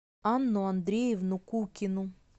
анну андреевну кукину